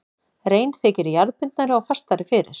Rein þykir jarðbundnari og fastari fyrir.